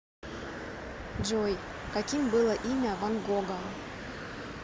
джой каким было имя ван гога